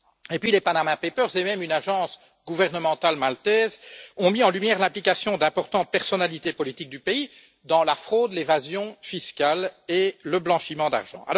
Puis, les Panama papers et même une agence gouvernementale maltaise ont mis en lumière l'implication d'importantes personnalités politiques du pays dans la fraude, l'évasion fiscale et le blanchiment d'argent.